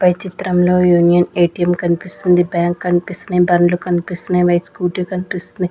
పై చిత్రంలో union ATM కనిపిస్తుంది bank కనిపిస్తున్నాయి బండ్లు కనిపిస్తున్నాయి వైట్ స్కూటీ కనిపిస్తున్నాయి.